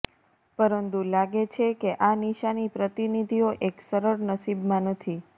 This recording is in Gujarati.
પરંતુ લાગે છે કે આ નિશાની પ્રતિનિધિઓ એક સરળ નસીબમાં નથી